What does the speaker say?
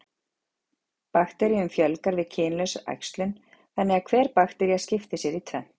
Bakteríum fjölgar við kynlausa æxlun, þannig að hver baktería skiptir sér í tvennt.